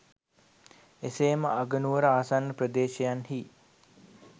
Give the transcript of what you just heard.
එසේ ම අගනුවර ආසන්න ප්‍රදේශයන් හි